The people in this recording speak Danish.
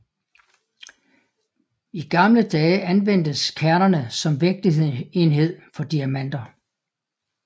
I gamle dage anvendtes kernerne som vægtenhed for diamanter